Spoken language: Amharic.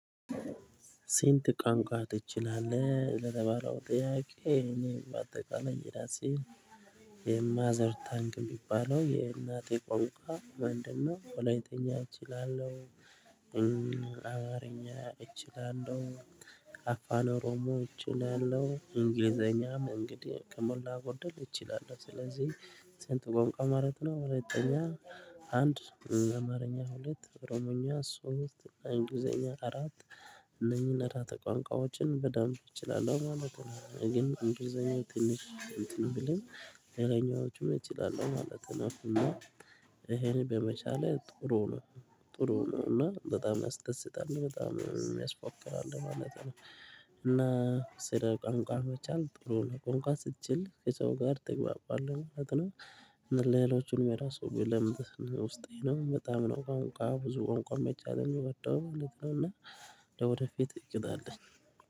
ስንት ቋንቋ ትችላለህ ለተባለው ጥያቄ? እኔ በአጠቃላይ የራሴን የማዘር ታንክ የሚባለው የእናቴ ቋንቋ ምንድነው ወለይትኛ እችላለሁ። አማርኛ እችላለሁ አፋን ኦሮሞ እችላለሁ። እንግሊዘኛ እንግዲህ ከሞላ ጎደል እችላለሁ። ስለዚህ ስንት ቋንቋ ማለት ነው? ወለይትኛ አንድ አማርኛ ሁለት ኦሮምኛ ሶስት እንግልዘኛ አራት እነኚህን አራት ቋንቋዎችን በደንብ እችላለሁ ማለት ነው። ግን እንግሊዘኛው ትንሽ እንትን ብለም ሌላኛዎቹም እችላለሁ ማለት ነው። እና ይሄን በመቻሌ ጥሩ ነው ጥሩ ነው እና በጣም ያስደስታል በጣም የሚያስፎክራል ማለት ነው። እና ስለ ቋንቋ መቻል ጥሩ ነው ቋንቋ ስትችል ከሰው ጋር ትግባባለህ ማለት ነው። እና ሌሎቹን እራሱ ብለምድ ውስጤ ነው በጣም ነው ቋንቋ ብዙ ቋንቋ መቻል የሚወደው ማለት ነው። እና ወደፊት እቅድ አለኝ